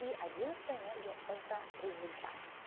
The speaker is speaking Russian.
и одиннадцатая энергия это результат